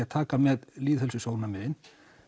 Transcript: að taka með lýðheilsusjónarmiðin